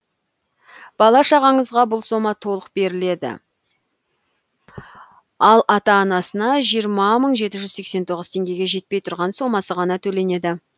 бала шағаңызға бұл сома толық беріледі ал ата анасына жирма мың жеті жүз сексен тоғыз теңгеге жетпей тұрған сомасы ғана төленеді